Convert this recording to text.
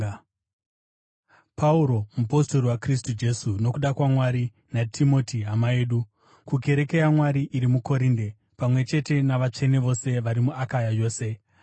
Pauro, mupostori waKristu Jesu nokuda kwaMwari, naTimoti hama yedu, kukereke yaMwari iri muKorinde, pamwe chete navatsvene vose vari muAkaya yose: